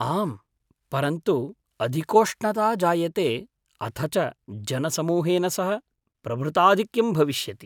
आम्, परन्तु अधिकोष्णता जायते अथ च जनसमूहेन सह प्रभृताधिक्यं भविष्यति।